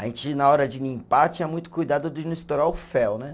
A gente, na hora de limpar, tinha muito cuidado de não estourar o fel, né?